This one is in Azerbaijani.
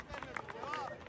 Yav, kemerini yav!